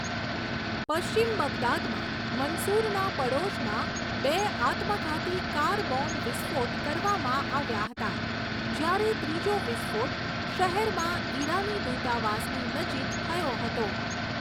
પશ્ચિમ બગદાદમાં મન્સુરના પડોશમાં બે આત્મઘાતી કાર બોમ્બ વિસ્ફોટ કરવામાં આવ્યા હતાં, જ્યારે ત્રીજો વિસ્ફોટ શહેરમાં ઈરાની દૂતાવાસની નજીક થયો હતો.